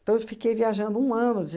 Então, eu fiquei viajando um ano